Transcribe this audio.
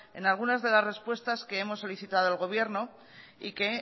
en algunas de las respuestas que hemos solicitado al gobierno y que